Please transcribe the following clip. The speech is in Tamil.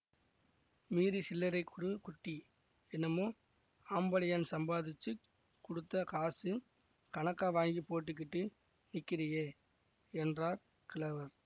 மீதி சில்லறை குடு குட்டிஎன்னமோ ஆம்படையான் சம்பாதிச்சுக் குடுத்த காசு கணக்கா வாங்கிப் போட்டுக்கிட்டு நிக்கறியே என்றார் கிழவர்